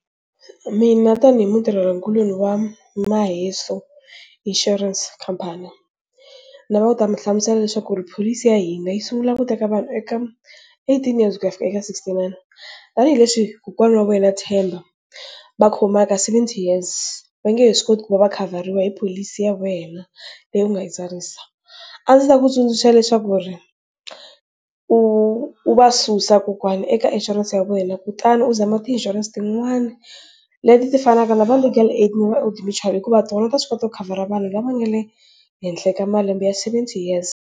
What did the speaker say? Mina tanihi mutirhela kuloni wa Maheso Insurance Company ni lava ku ta mi hlamusela leswaku pholisi ya hina yi sungula ku teka vanhu eka eighteen years ku ya fika eka sixty nine tanihileswi kokwana wa wena Themba va khomaka seventy years va nge he swi koti ku va va khavhariwa hi pholisi ya wena leyi u nga yi tsarisa, a ndzi ta ku tsundzuxa leswaku u u va susa kokwana eka insurance ya wena, kutani u zama ti insurance tin'wani leti ti fanaka na va Legal Aid na va Old-Mutual hikuva tona ta swi kota ku khavhara vanhu lava nga le henhla ka malembe ya seventy years.